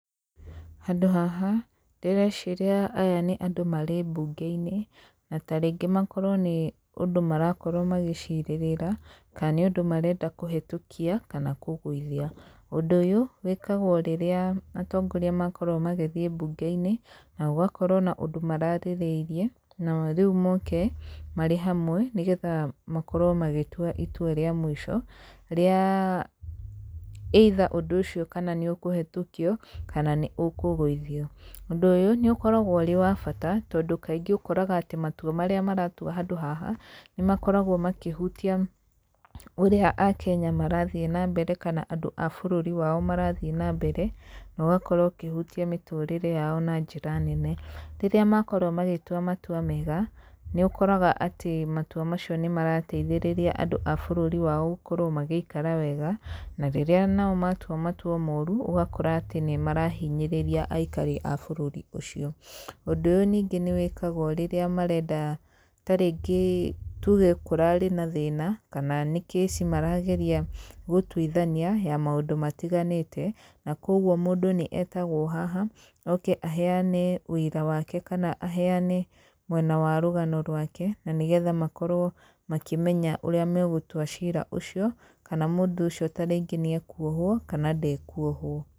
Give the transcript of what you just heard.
Handũ haha ndĩreciria aya nĩ andũ marĩ mbunge-inĩ, na taringĩ makorwo nĩ ũndũ marakorwo magicirĩrĩra, kana nĩ ũndũ marenda kũhĩtũkia kana kũgũithia. Ũndũ ũyũ wĩkagwo rĩrĩa atongoria makorwo magĩthiĩ mbunge-inĩ, na gũgakorwo na ũndũ mararĩrĩirie, na rĩu moke marĩ hamwe nĩgetha makorwo magĩtua itua rĩa mũico rĩa either ũndũ ũcio kana nĩ ũkũhĩtũkio kana nĩ ũkũgũithio. Ũndũ ũyũ nĩ ũkoragwo ũrĩ wa bata, tondũ kaingĩ ũkoraga atĩ matua marĩa maratuo handũ haha nĩ makoragwo makĩhutia ũrĩa a Kenya marathiĩ na mbere kana ũrĩa andũ a bũrũri wao marathiĩ na mbere, na ũgakorwo ũkĩhutia mĩtũrĩre yao na njĩra nene. Rĩrĩa makorwo magĩtua matua mega nĩ ũkoraga atĩ matua macio nĩ marateithĩrĩria andũ a bũrũri wao gũkorwo magĩikara wega, na rĩrĩa nao matua matua moru ũgakora atĩ nĩ marahinyĩrĩria aikari a bũrũri ũcio. Ũndũ ũyũ ningĩ nĩ wĩkagwo rĩrĩa ningĩ marenda tarĩngĩ tuge kũrarĩ na thĩna kana nĩ case maragereia gũtuithania ya maũndũ matiganĩte. Na koguo mũndũ nĩ etagwo haha oke aheane ũira wake, kana aheane mwena wa rũgano rwake, na nĩgetha makorwo makĩmenya ũrĩa megũtua cira ũcio. Kana mũndũ ũcio tarĩngĩ nĩ ekuohwo kana ndekuohwo.